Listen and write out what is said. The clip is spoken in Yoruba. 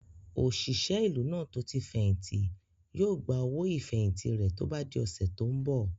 Òṣìṣẹ́ ìlú náà tó tí fẹ̀hìntì yóò gba owó ìfẹ̀hìntì rẹ̀ tó bá di ọ̀sẹ̀ tó n bọ̀